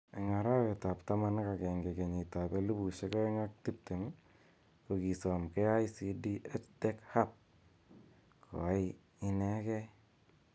Eng arawet ab taman ak agenge 2020, ko kisom KICD EdTech Hub koai inegei